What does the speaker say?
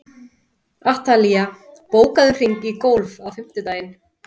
Atalía, bókaðu hring í golf á fimmtudaginn.